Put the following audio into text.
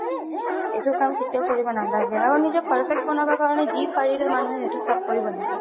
এইটো কাম কেতিয়াও কাম কৰিব নালাগে আৰু নিজক perfect বনাব কাৰণে যি পাৰিলে মানুহে চব কৰিব লাগে